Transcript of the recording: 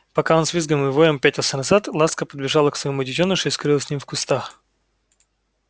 пока он с визгом и воём пятился назад ласка подбежала к своему детёнышу и скрылась с ним в кустах